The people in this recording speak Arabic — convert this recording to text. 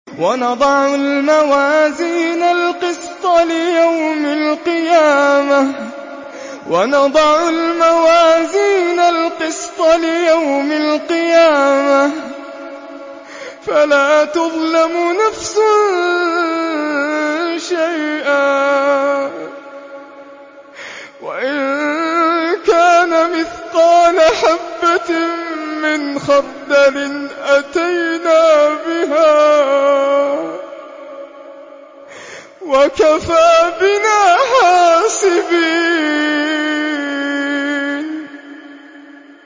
وَنَضَعُ الْمَوَازِينَ الْقِسْطَ لِيَوْمِ الْقِيَامَةِ فَلَا تُظْلَمُ نَفْسٌ شَيْئًا ۖ وَإِن كَانَ مِثْقَالَ حَبَّةٍ مِّنْ خَرْدَلٍ أَتَيْنَا بِهَا ۗ وَكَفَىٰ بِنَا حَاسِبِينَ